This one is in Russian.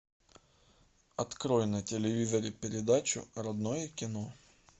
открой на телевизоре передачу родное кино